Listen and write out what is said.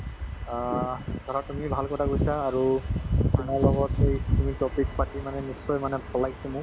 অ ধৰা তুমিয়ে ভাল কথা কৈছা আৰু তোমাৰ লগত এইখিনি topic পাতি মানে নিশ্চয় মানে ভাল লাগিছে মোক